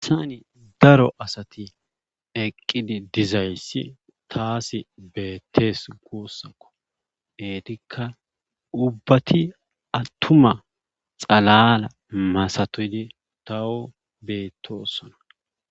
Hayssani daro asati eqqid dizayssi taasi beetees guusako eetikka ubbati attuma xalaala masatidi taw beettoosona.